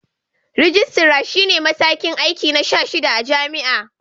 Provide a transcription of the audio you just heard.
Rijistara shi ne matakin aiki na 16 a jam'a.